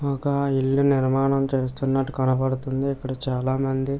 ఒక ఇల్లు నిర్మాణం చేస్తున్నట్టు కనపడుతుంది. ఇక్కడ చాలామంది --